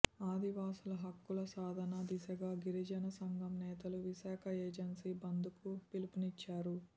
ఆదివాసీల హక్కుల సాధన దిశగా గిరిజన సంఘం నేతలు విశాఖ ఏజన్సీ బందుకు పిలుపు నిచ్చారు